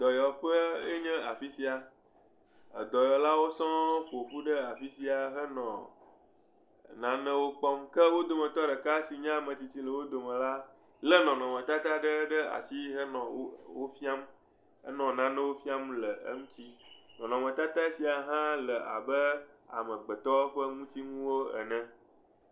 Dɔyɔƒee nye afi sia. Dɔyɔlawo sɔŋ ƒo ƒu ɖe afi sia henɔ enuwo kpɔm. Ke wo dometɔ ɖeka si nye ame tsitsi le wo domela, lé nɔnɔmetata ɖe ɖe asi henɔ wo, wofiam, henɔ nanewo fiam wo le eŋuti. Nnɔnɔmetata sia hã le abe amegbetɔ ƒe ŋutinuwo ene.